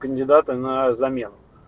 кандидаты на замену